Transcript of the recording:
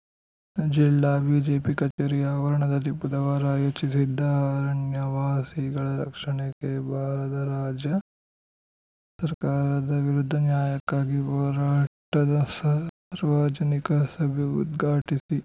ಜಿಲ್ಲಾ ಬಿಜೆಪಿ ಕಚೇರಿ ಆವರಣದಲ್ಲಿ ಬುಧವಾರ ಆಯೋಜಿಸಿದ್ದ ಅರಣ್ಯವಾಸಿಗಳ ರಕ್ಷಣೆಗೆ ಬಾರದ ರಾಜ್ಯ ಸರ್ಕಾರದ ವಿರುದ್ಧ ನ್ಯಾಯಕ್ಕಾಗಿ ಹೋರಾಟದ ಸಾರ್ವಜನಿಕ ಸಭೆ ಉದ್ಘಾಟಿಸಿ